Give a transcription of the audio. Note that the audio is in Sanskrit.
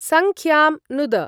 संख्यां नुद।